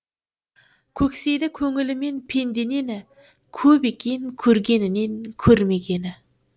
көксейді көңілімен пенде нені көп екен көргенінен көрмегені